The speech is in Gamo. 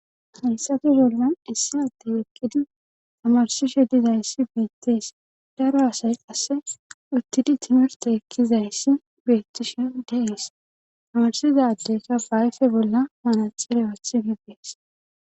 heyssato gollan issi addey ekkidi amarsishe dizayssi beettees daro asay qasse uttidi timirte ekkizayssi beettishi deees amarsizaddeyka baayfe bolla manaxire wathi bibbees